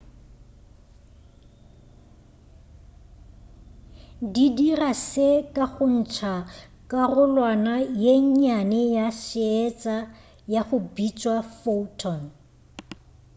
di dira se ka go ntša karolwana ye nnyane ya seetša ya go bitšwa photon